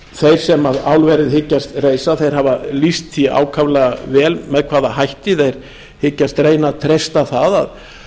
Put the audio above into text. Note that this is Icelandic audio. þeir sem álverið hyggjast reisa hafa lýst því ákaflega vel með hvaða hætti þeir hyggjast reyna að treysta það að